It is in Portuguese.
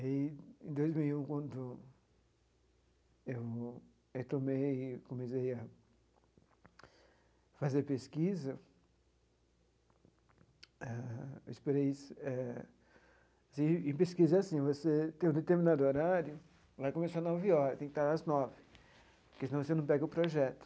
E, em dois mil e um, quando eu eu tomei e comecei a fazer pesquisa, ah eu esperei... Em pesquisa é assim, você tem um determinado horário... Lá começava nove horas, tem que estar às nove, porque senão você não pega o projeto.